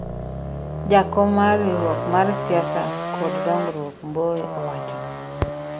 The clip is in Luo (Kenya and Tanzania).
jakom mar riwruok mar siasa kod dongruok ,Mbowe owacho